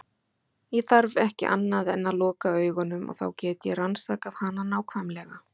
Ég þarf ekki annað en að loka augunum og þá get ég rannsakað hana nákvæmlega.